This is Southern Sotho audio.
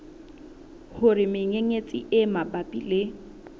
hore menyenyetsi e mabapi le